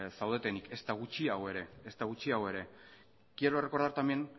zaudetenik ezta gutxiago ere quiero recordar también